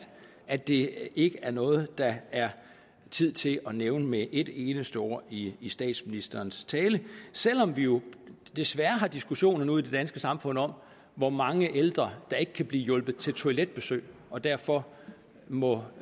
at det ikke er noget der er tid til at nævne med et eneste ord i i statsministerens tale selv om vi jo desværre har diskussioner nu i det danske samfund om hvor mange ældre der ikke kan blive hjulpet til toiletbesøg og derfor må